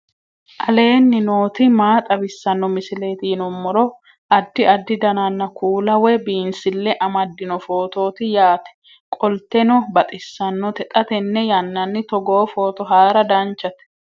aleenni nooti maa xawisanno misileeti yinummoro addi addi dananna kuula woy biinsille amaddino footooti yaate qoltenno baxissannote xa tenne yannanni togoo footo haara danchate